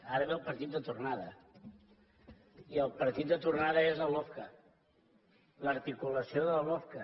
ara ve el partit de tornada i el partit de tornada és la lofca l’articulació de la lofca